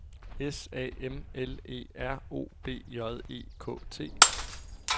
S A M L E R O B J E K T